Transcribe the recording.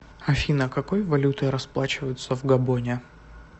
афина какой валютой расплачиваются в габоне